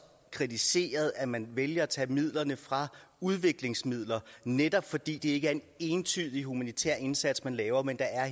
kritiseret at man vælger at tage midlerne fra udviklingsmidler netop fordi det ikke er en entydig humanitær indsats man laver men at